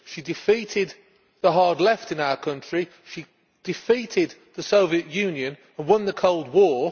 she defeated the hard left in our country she defeated the Soviet Union and won the Cold War.